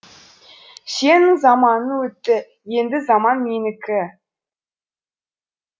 сенің заманың өтті енді заман менікі